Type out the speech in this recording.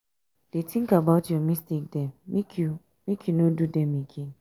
dey tink about your mistake dem make you make you no do dem again.